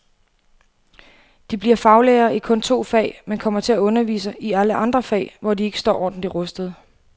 De bliver faglærere i kun to fag, men kommer til at undervise i alle andre fag, hvor de ikke står ordentligt rustede.